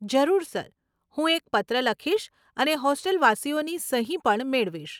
જરૂર સર, હું એક પત્ર લખીશ અને હોસ્ટેલવાસીઓની સહી પણ મેળવીશ.